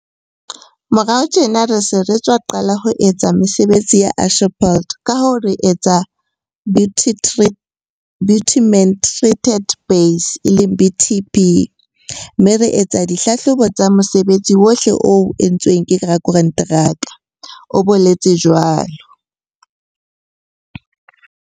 "Morao tjena re sa tswa qala ho etsa mesebetsi ya asphalt kahoo re etsa bitumen treated base, BTB, mme re etsa di hlahlobo tsa mosebetsi ohle o entsweng ke rakonteraka," o boletse jwalo.